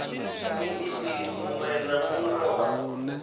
muiti muṅwe na muṅwe wa